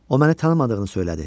O məni tanımadığını söylədi.